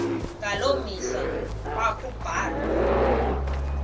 ngaloo mihla ekwakubulawa